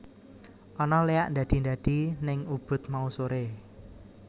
Ana leak ndadi ndadi ning Ubud mau sore